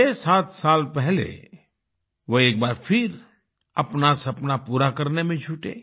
67 साल पहले वो एक बार फिर अपना सपना पूरा करने में जुटे